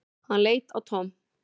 Hann leit á Tom.